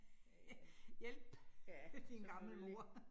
Ja ja, ja, selvfølgelig